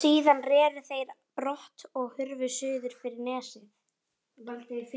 Síðan reru þeir brott og hurfu suður fyrir nesið.